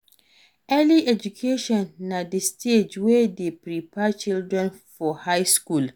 early education na di stage wey de prepare children for high school